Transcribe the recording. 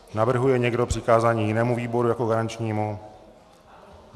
Navrhuje někdo přikázání jinému výboru jako garančnímu?